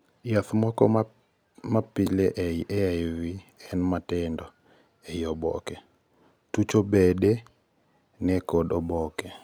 jaath moko mapile ei AIV en matindo ei oboke, tucho bede ne kod oboke